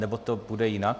Nebo to bude jinak?